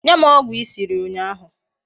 Nye m ogwu I siri unyahu